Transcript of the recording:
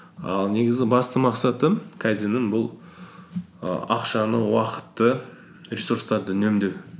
ал негізі басты мақсаты кайдзеннің бұл і ақшаны уақытты ресурстарды үнемдеу